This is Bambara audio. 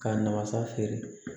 K'a namasa feere